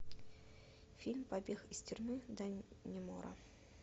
фильм побег из тюрьмы даннемора